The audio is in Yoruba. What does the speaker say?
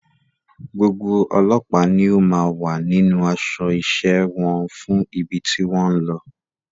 Gbogbo ọlọ́pàá ni ó máa wà nínú aṣọ iṣẹ́ wọn fún ibi tí wọ́n ń lọ.